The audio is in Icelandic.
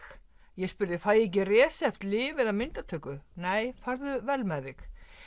ég spurði fæ ég ekki lyf eða myndatöku nei farðu vel með þig